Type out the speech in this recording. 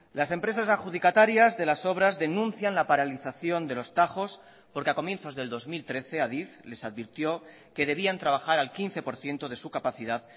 las empresas adjudicatarias de las obras denuncian la paralización de los tajos porque a comienzos del dos mil trece adif les advirtió que debían trabajar al quince por ciento de su capacidad